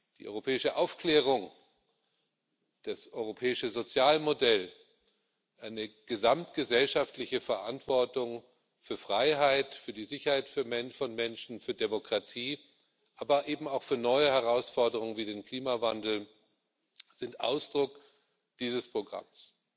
Die europäische Aufklärung, das europäische Sozialmodell, eine gesamtgesellschaftliche Verantwortung für Freiheit, für die Sicherheit von Menschen, für Demokratie, aber eben auch für neue Herausforderungen wie den Klimawandel, sind Ausdruck dieses Programms.